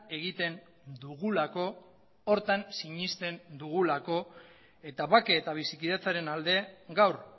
egiten dugulako horretan sinesten dugulako eta bake eta bizikidetzaren alde gaur